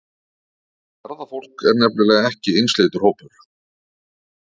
Ferðafólk er nefnilega ekki einsleitur hópur.